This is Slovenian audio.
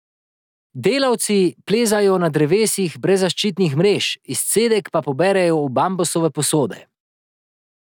Delavci plezajo na drevesa brez zaščitnih mrež, izcedek pa poberejo v bambusove posode.